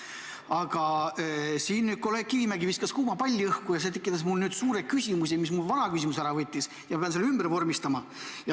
Aga kolleeg Kivimägi viskas siin kuuma palli õhku ja see tekitas mul uue suure küsimuse: ta võttis mu vana küsimuse ära ja ma pean selle ümber sõnastama.